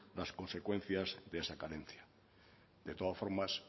las consecuencias de esa carencia de todas formas